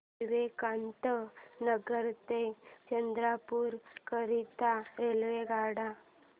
विवेकानंद नगर ते चंद्रपूर करीता रेल्वेगाड्या